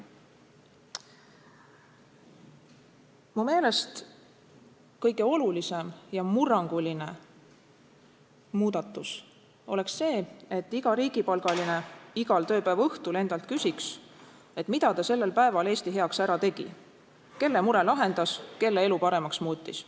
Mu meelest kõige olulisem ja murranguline muudatus oleks see, et iga riigipalgaline igal tööpäeva õhtul endalt küsiks, mida ta sellel päeval Eesti heaks ära tegi, kelle mure lahendas, kelle elu paremaks muutis.